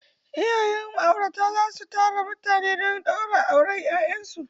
Iyayen ma'aurata za su tara mutane don ɗaura auren 'ya'yansu.